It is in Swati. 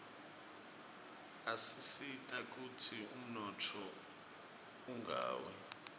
asisita kutsi umnotfo ungawi